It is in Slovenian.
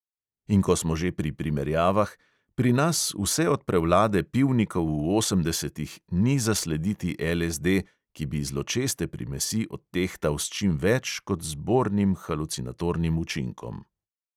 In ko smo že pri primerjavah – pri nas vse od prevlade pivnikov v osemdesetih ni zaslediti LSD, ki bi zločeste primesi odtehtal s čim več kot z bornim halucinatornim učinkom.